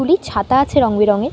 গুলি ছাতা আছে রং বেরঙের।